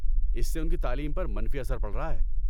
اس سے ان کی تعلیم پر منفی اثر پڑ رہا ہے۔